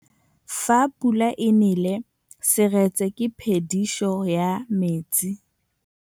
Fa pula e nelê serêtsê ke phêdisô ya metsi.